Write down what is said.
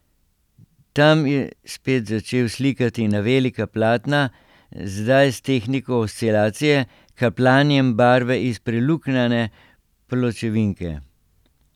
Tam je spet začel slikati na velika platna, zdaj s tehniko oscilacije, kapljanjem barve iz preluknjane pločevinke.